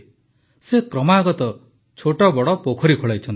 ସେ କ୍ରମାଗତ ଛୋଟବଡ଼ ପୋଖରୀ ଖୋଳାଇଛନ୍ତି